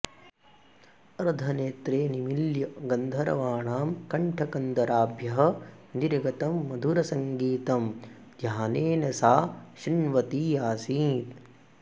अर्धनेत्रे निमील्य गन्धर्वाणां कण्ठकन्दराभ्यः निर्गतं मधुरसङ्गीतं ध्यानेन सा शृण्वती आसीत्